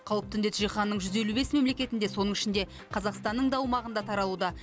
қауіпті індет жиһанның жүз елу бес мемлекетінде соның ішінде қазақстанның да аумағында таралуда